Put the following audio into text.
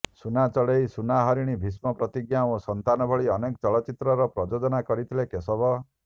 ସୁନା ଚଢେଇ ସୁନା ହରିଣୀ ଭୀଷ୍ମ ପ୍ରତିଜ୍ଞା ଓ ସନ୍ତାନ ଭଳି ଅନେକ ଚଳଚ୍ଚିତ୍ରର ପ୍ରଯୋଜନା କରିଥିଲେ କେଶବ